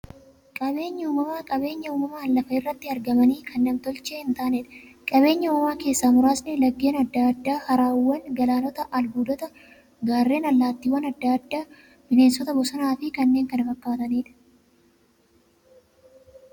Qaabeenyi uumamaa qabeenya uumamaan lafa irratti argamanii, kan nam-tolchee hin taaneedha. Qabeenya uumamaa keessaa muraasni; laggeen adda addaa, haroowwan, galaanota, albuudota, gaarreen, allattiiwwan adda addaa, bineensota bosonaa fi kanneen kana fakkataniidha.